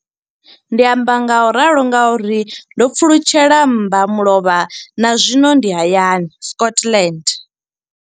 Ndi amba ngauralo nga uri ndo pfulutshela mmbamulovha na zwino ndi hayani, Scotland.